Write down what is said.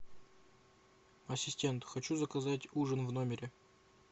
ассистент хочу заказать ужин в номере